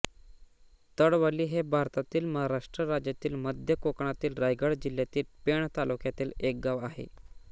तळवली हे भारतातील महाराष्ट्र राज्यातील मध्य कोकणातील रायगड जिल्ह्यातील पेण तालुक्यातील एक गाव आहे